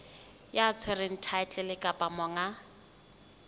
ya tshwereng thaetlele kapa monga